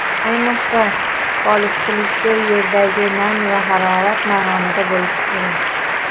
Ayniqsa, polizchilikda yerdagi nam va harorat maromida bo‘lishi kerak.